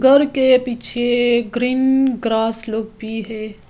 घर के पीछे ग्रीन ग्रास लोग भी है।